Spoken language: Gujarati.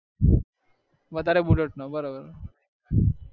વધારે bullet નો